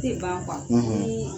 Ne de b' a bamun; ; Niii